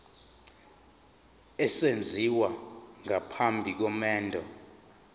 esenziwa phambi komendo